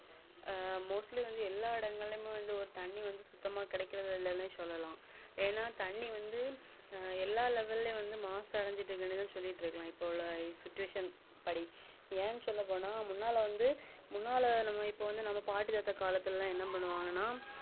எல்லா level ளையும் லெவலையும் வந்து மாசு அடைஞ்சு இருக்குன்னு சொல்லிட்டுஇருக்கலாம் இப்போ உள்ள situation படி ஏன்சொல்ல போன முன்னா ல இப்போ வந்து பாட்டிதாத்தா காலத்துல என்ன பண்ணுவாங்கன